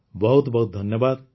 ବହୁତ ବହୁତ ଧନ୍ୟବାଦ